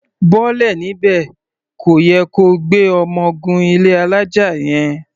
Bọ́lẹ̀ níbẹ̀! Kò yẹ ko gbé ọmọ gun ilé alája yẹn.